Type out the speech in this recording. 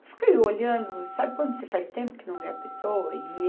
Eu fiquei olhando, sabe quando você faz tempo que não vê a pessoa? E